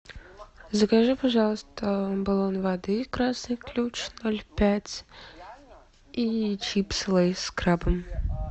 закажи пожалуйста баллон воды красный ключ ноль пять и чипсы лейс с крабом